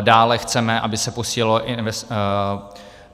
Dále chceme, aby se